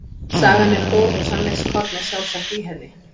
Sagan er góð og sannleikskorn er sjálfsagt í henni.